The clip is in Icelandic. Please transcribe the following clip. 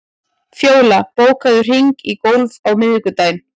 Fjóla, bókaðu hring í golf á miðvikudaginn.